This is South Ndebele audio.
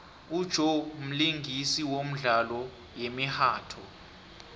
ujoe mlingisi womdlalo yemihatjho